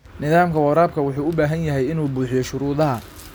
Nidaamka waraabka wuxuu u baahan yahay inuu buuxiyo shuruudaha.